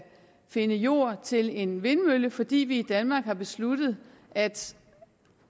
findes jord til en vindmølle fordi vi i danmark har besluttet at